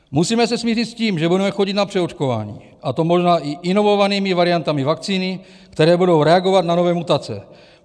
Musíme se smířit s tím, že budeme chodit na přeočkování, a to možná i inovovanými variantami vakcíny, které budou reagovat na nové mutace.